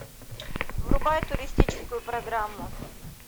врубай туристическую программу